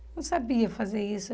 Eu não sabia fazer isso.